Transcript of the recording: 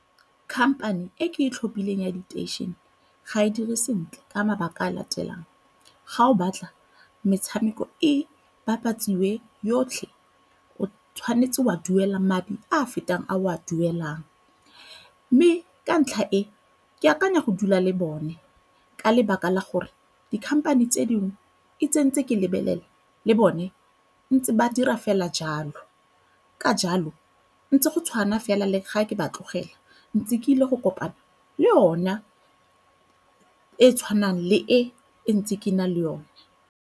Company e ke e tlhophileng ya diteišene ga e dire sentle ka mabaka a a latelang. Ga o batla metshameko e bapatsiwe yotlhe o tshwanetse o a duela madi a a fetang a o a duelang mme ka ntlha e ke akanya go dula le bone ka lebaka la gore dikhamphane tse dingwe e tsentse ke lebelela le bone ntse ba dira fela jalo. Ka jalo ntse go tshwana fela le ga ke ba tlogela ntsi ke ile go kopana le yona e e tshwanang le e ntse ke na le yone.